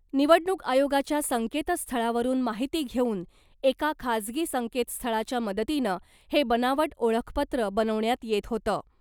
निवडणूक आयोगाच्या संकेतस्थळावरुन माहिती घेऊन एका खाजगी संकेतस्थळाच्या मदतीनं हे बनावट ओळखपत्र बनवण्यात येत होतं .